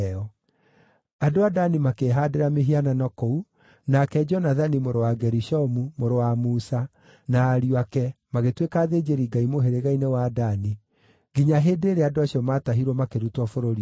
Andũ a Dani makĩĩhaandĩra mĩhianano kũu, nake Jonathani mũrũ wa Gerishomu, mũrũ wa Musa, na ariũ ake magĩtuĩka athĩnjĩri-Ngai mũhĩrĩga-inĩ wa Dani nginya hĩndĩ ĩrĩa andũ acio maatahirwo makĩrutwo bũrũri ũcio.